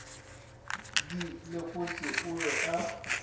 di lekotše o be a